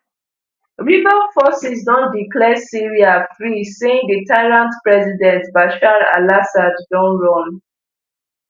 rebel forces don declare syria free saying di tyrant president bashar alassad don run